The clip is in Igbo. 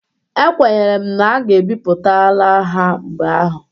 Ekwenyere m na a ga-epipụtala ha mgbe ahụ.